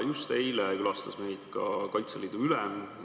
Just eile külastas meid ka Kaitseliidu ülem.